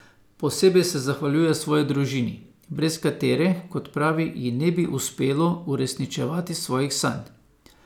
Posebej se zahvaljuje svoji družini, brez katere, kot pravi, ji ne bi uspelo uresničevati svojih sanj.